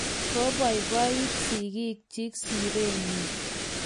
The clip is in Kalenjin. koiboiboit sigikchich sire nyin